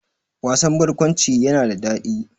Wasan barkwanci yana da daɗi